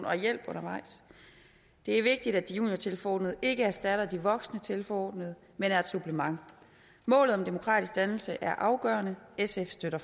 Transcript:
og hjælp undervejs det er vigtigt at de juniortilforordnede ikke erstatter de voksne tilforordnede men er et supplement målet om demokratisk dannelse er afgørende sf støtter